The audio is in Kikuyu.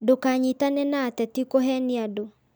Ndũkanyitane na ateti kũhenia andũ